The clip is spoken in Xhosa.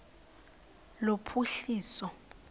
lophuhliso